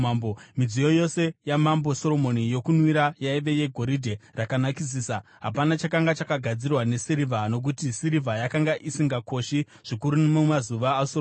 Midziyo yose yaMambo Soromoni yokunwira yaiva yegoridhe rakanakisisa. Hapana chakanga chakagadzirwa nesirivha, nokuti sirivha yakanga isingakoshi zvikuru mumazuva aSoromoni.